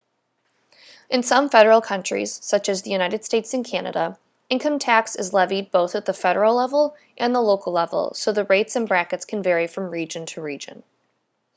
in some federal countries such as the united states and canada income tax is levied both at the federal level and at the local level so the rates and brackets can vary from region to region